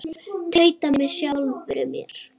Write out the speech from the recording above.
Tauta með sjálfri mér.